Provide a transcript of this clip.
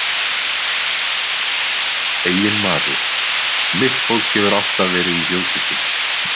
Eiginmaður: Mitt fólk hefur alltaf verið í þjóðkirkjunni.